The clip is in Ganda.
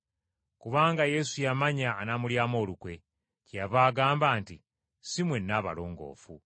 Kubanga Yesu yamanya anaamulyamu olukwe. Kyeyava agamba nti, “Si mwenna abalongoofu.”